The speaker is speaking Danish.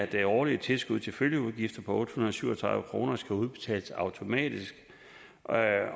det årlige tilskud til følgeudgifter på otte hundrede og syv og tredive kroner udbetales automatisk